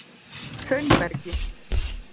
Hraunbergi